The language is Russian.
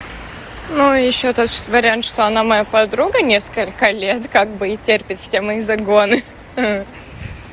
ну ещё тот вариант что она моя подруга несколько лет как бы и терпит все мои загоны ха